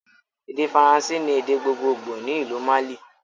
Èdè Faransé ni èdè gbogbogbo ni ìlú Mali